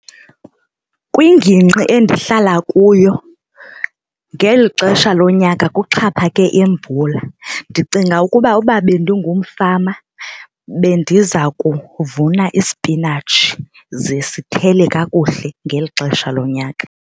Kwingingqi endihlala kuyo ngeli xesha lonyaka kuxhaphake imvula. Ndicinga ukuba uba bendingumfama bendiza kuvuna ispinatshi ze sithele kakuhle ngeli xesha lonyaka.